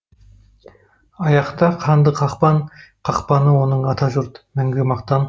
аяқта қанды қақпан қақпаны оның атажұрт мәңгі мақтан